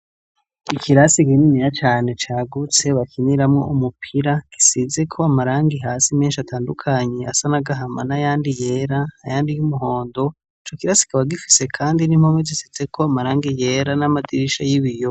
Ikirasi kininiya cane cagutse bakiniramwo umupira gisizeko amarangi hasi mensh'atandukanye asa n'agahama n'ayandi yera ayandi y'umuhondo , ico kirasi kikaba gifise kandi n'impome zisizeko amarangi yera n'amadirisha y'ibiyo